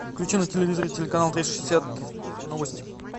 включи на телевизоре телеканал триста шестьдесят новости